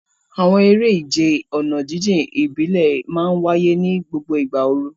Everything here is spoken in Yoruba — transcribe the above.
Àwọn eré ìje ọ̀nà jíjìn ìbílẹ̀ máa ń wáyé ní gbogbo ìgbà ooru.